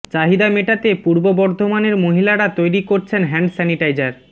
চাহিদা মেটাতে পূর্ব বর্ধমানের মহিলারা তৈরি করছেন হ্যান্ড স্যানিটাইজার